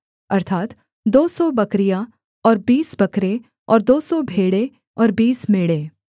अर्थात् दो सौ बकरियाँ और बीस बकरे और दो सौ भेड़ें और बीस मेढ़े